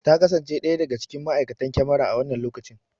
Ta kasance ɗaya daga cikin ma!aikatan kyamara a wannan lokacin